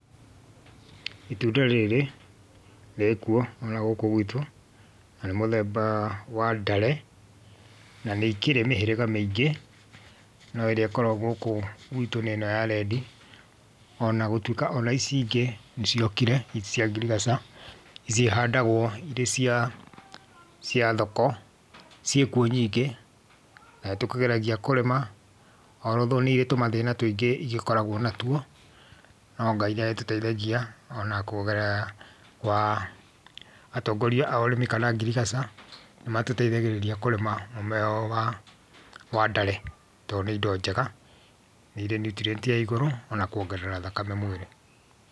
Itunda rĩrĩ, rĩkuo ona gũkũ gwitũ, na nĩ mũthembaa wa ndare, na nĩ ikĩrĩ mĩhĩriga mĩingĩ, no ĩrĩa ĩkoragũo gũkũ gwitũ nĩ ĩno ya redi, ona gũtuĩka ona ici ingĩ, nĩciokire, ici cia ngirigaca, ici ihandagũo irĩ cia cia thoko, ciĩkuo nyingĩ, na nĩtũkĩgeragia kũrĩma, although nĩirĩ tũmathĩna tũingĩ igĩkoragũo natuo, no Ngai nĩagĩtũteithagia, ona kũgerera kwa atongoria a ũrĩmi kana ngirigaca, nĩmatũteithagĩrĩria kũrĩma mũmera ũyũ wa, wa ndare, tondũ nĩ indo njega, nĩirĩ nũtrient ya igũrũ ona kuongerera thakame mwĩrĩ.